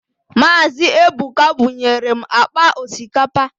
Mazi Ebuka bunyere m akpa osikapa